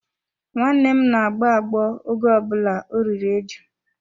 Nwanne m na-agbọ agbọ oge ọ bụla o riri eju.